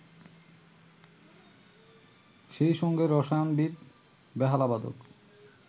সেই সঙ্গে রসায়নবিদ, বেহালাবাদক